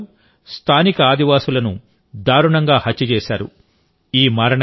British వారు స్థానిక ఆదివాసిలను దారుణంగా హత్య చేశారు